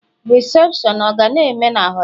Rịsepshọn ọ ga na-eme na họtelu?